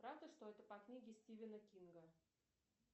правда что это по книге стивена кинга